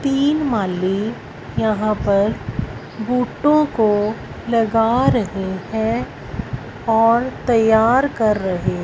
तीन माली यहां पर बोटो को लगा रहे हैं और तैयार कर रहे--